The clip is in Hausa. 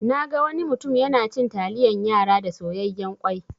Naga wani mutum yana cin taliyan yara da soyayyan kwai.